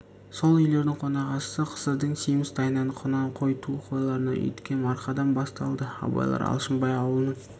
сол үйлердің қонақасысы қысырдың семіз тайынан құнан қой ту қойлардан үйіткен марқадан басталды абайлар алшынбай аулының